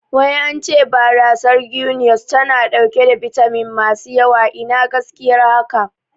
Wai ance barasar Guiness tana ɗauke da bitamin masu yawa, Ina gaskiyar haka?